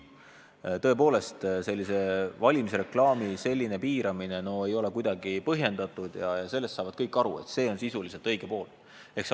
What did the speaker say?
Tõepoolest, valimisreklaami selline piiramine ei ole kuidagi põhjendatud ja kõik saavad aru, et see on sisuliselt õige.